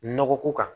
Nɔgɔ ko kan